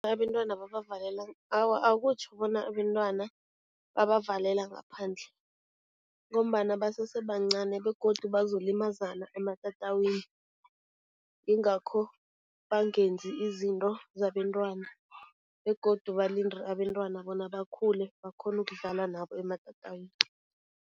Awa, akutjho bona abentwana babavalela ngaphandle ngombana basese bancani begodu bazolimazana ematatawini, ingakho bangenzi izinto zabentwana begodu balinde abentwana bona bakhule, bakghone ukudlala nabo ematatawini.